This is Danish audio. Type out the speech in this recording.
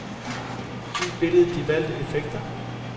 Giv billedet de valgte effekter.